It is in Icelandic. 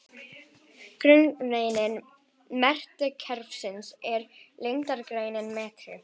Grunneining metrakerfisins er lengdareiningin metri.